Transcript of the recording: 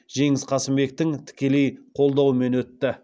жеңіс қасымбектің тікелей қолдауымен өтті